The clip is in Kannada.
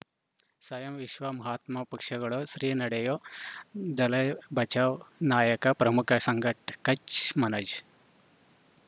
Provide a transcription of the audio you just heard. ಸ್ವಯಂ ವಿಶ್ವ ಮಹಾತ್ಮ ಪಕ್ಷಗಳು ಶ್ರೀ ನಡೆಯೂ ದಲೈ ಬಚೌ ನಾಯಕ ಪ್ರಮುಖ ಸಂಘ ಕಚ್ ಮನೋಜ್